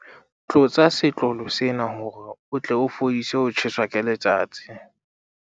tlotsa setlolo sena hore o tle o fedise ho tjheswa ke letsatsi